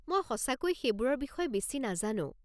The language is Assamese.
মই সঁচাকৈয়ে সেইবোৰৰ বিষয়ে বেছি নাজানো।